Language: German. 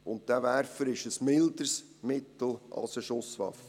Dieser Werfer ist ein milderes Mittel als eine Schusswaffe.